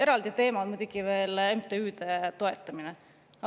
Eraldi teema on muidugi veel MTÜ‑de toetamine.